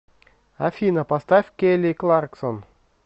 афина поставь келли кларксон